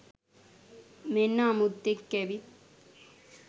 මෙන්න අමුත්තෙක් ඇවිත්